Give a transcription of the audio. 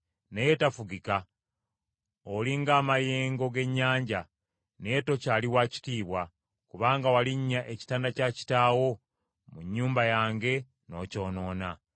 Naye tafugika, oli ng’amayengo g’ennyanja, naye tokyali wa kitiibwa, kubanga walinnya ekitanda kya kitaawo, mu nnyumba yange, n’okyonoona.